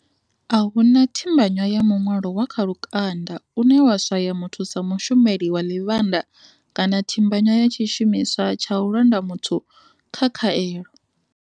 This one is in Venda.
A hu na thimbanywa ya muṅwalo wa kha lukanda une wa swaya muthu sa mushumeli wa ḽivhanda kana thimbanywa ya tshi shumiswa tsha u londa muthu kha khaelo.